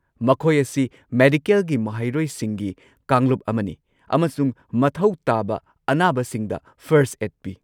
ꯃꯈꯣꯏ ꯑꯁꯤ ꯃꯦꯗꯤꯀꯦꯜꯒꯤ ꯃꯍꯩꯔꯣꯏꯁꯤꯡꯒꯤ ꯀꯥꯡꯂꯨꯞ ꯑꯃꯅꯤ ꯑꯃꯁꯨꯡ ꯃꯊꯧ ꯇꯥꯕ ꯑꯅꯥꯕꯁꯤꯡꯗ ꯐꯔꯁꯠ ꯑꯦꯗ ꯄꯤ꯫